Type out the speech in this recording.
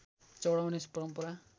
चढाउने परम्परा